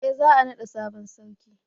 eh za a nada sabon sarki